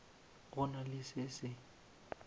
go na le se se